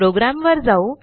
प्रोग्रॅमवर जाऊ